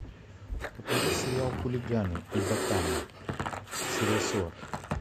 покажи сериал хулиганы и ботаны серия сорок